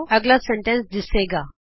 ਅਗਲਾ ਵਾਕ ਦਿੱਸੇਗਾ